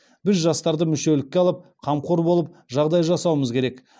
біз жастарды мүшелікке алып қамқор болып жағдай жасауымыз керек